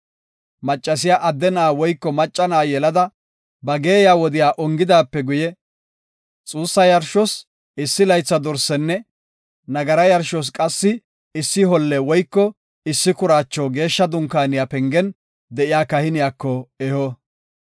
“Maccasiya adde na7a woyko macca na7a yelada ba geeyiya wodiya ongidaape guye, xuussa yarshos issi laytha dorsenne nagara yarshos qassi issi holle woyko issi kuraacho Geeshsha Dunkaaniya pengen de7iya kahiniyako eho.